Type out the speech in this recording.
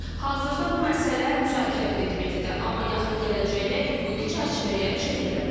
Hazırda bu məsələ müzakirə predmetidir, amma yaxın gələcəkdə hüquqi çərçivəyə çevrilə bilər.